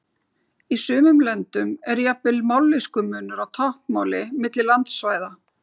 Í sumum löndum er jafnvel mállýskumunur á táknmáli milli landsvæða.